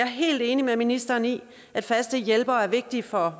helt enig med ministeren i at faste hjælpere er vigtigt for